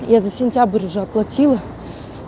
я за сентябрь уже оплатила